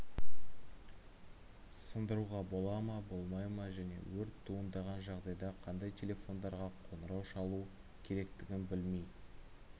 сындыруға бола ма болмай ма және өрт туындаған жағдайда қандай телефондарға қоңырау шалу керектігін білмей